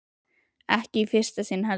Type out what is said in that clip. Og ekki í fyrsta sinn heldur.